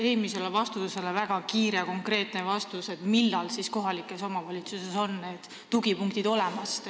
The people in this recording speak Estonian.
Eelmise vastuse peale väga kiire ja konkreetne küsimus: millal siis kohalikes omavalitsustes on need tugipunktid olemas?